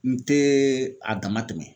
N te a dama tɛmɛ